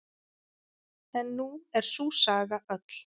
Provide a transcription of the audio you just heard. En nú er sú saga öll.